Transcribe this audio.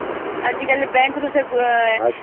ସମସ୍ତ ଋଣ ଦେଉଛି ଲୋକ ମାନଙ୍କୁ